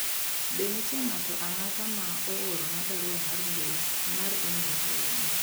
be nitie ng'ato ang'ata ma oorona barua mar mbui mar email kawuono